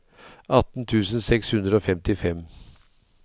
atten tusen seks hundre og femtifem